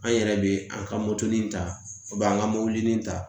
An yɛrɛ bɛ an ka moto in ta an ka mɔbili in ta